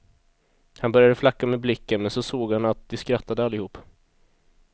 Han började flacka med blicken, men så såg han att de skrattade allihop.